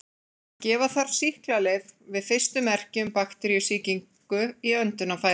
Gefa þarf sýklalyf við fyrstu merki um bakteríusýkingu í öndunarfærum.